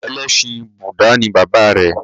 Ẹlẹ́sìn Búdà ni bàbá rẹ̀.